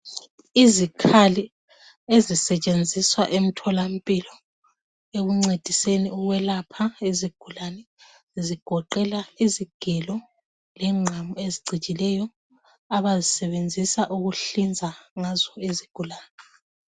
Izikhali ezisetshenziswa emtholampilo ekuncediseni ukwelapha izigulane zigoqela izigelo lengqamu ezicijileyo abazisebenzisa ukuhlinza izigulane.